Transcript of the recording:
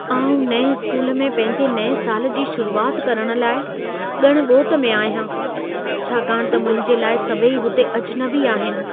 आउं नएं स्कूल में पंहिंजे नएं साल जी शुरूआति करण लाइ ॻण ॻोत में आहियां, छाकाणि त मुंहिंजे लाइ सभई हुते अजनबी आहिनि।